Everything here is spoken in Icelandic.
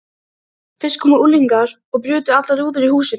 Fyrst komu unglingar og brutu allar rúður í húsinu.